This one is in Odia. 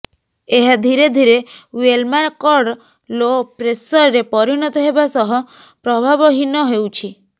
ଏହା ଧିରେଧିରେ ୱେଲ୍ମାର୍କଡ୍ ଲୋ ପ୍ରେସରରେ ପରିଣତ ହେବା ସହ ପ୍ରଭାବହୀନ ହେଉଛି